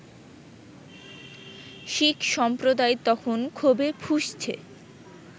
শিখ সম্প্রদায় তখন ক্ষোভে ফুঁসছে